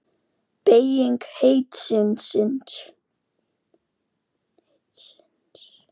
Beyging heitisins er síðan sýnd í eintölu og fleirtölu.